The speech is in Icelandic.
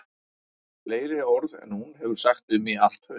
Fleiri orð en hún hefur sagt við mig í allt haust